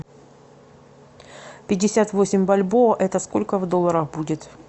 пятьдесят восемь бальбоа это сколько в долларах будет